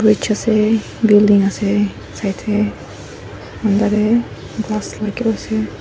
bridge ase building ase side teh glass lah kiba ase.